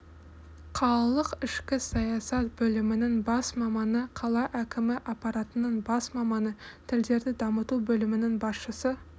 қалалық ішкі саясат бөлімінің бас маманы қала әкімі апаратының бас маманы тілдерді дамыту бөлімінің басшысы